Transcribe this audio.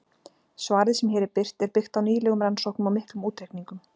Svarið sem hér er birt er byggt á nýlegum rannsóknum og miklum útreikningum.